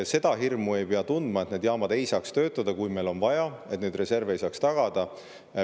Seda hirmu ei pea tundma, et need jaamad ei saa töötada, kui meil on vaja, et neid reserve ei saa tagada.